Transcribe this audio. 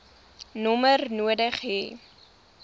nommer nodig hê